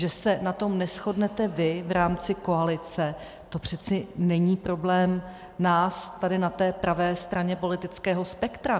Že se na tom neshodnete vy v rámci koalice, to přece není problém nás tady na té pravé straně politického spektra.